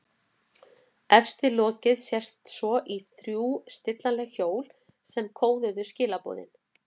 Efst við lokið sést svo í þrjú stillanleg hjól sem kóðuðu skilaboðin.